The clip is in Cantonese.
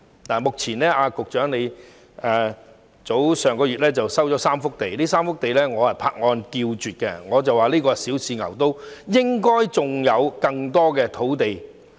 當局上月收回3幅土地，我對此拍案叫絕，我認為這是小試牛刀，應該還有更多土地。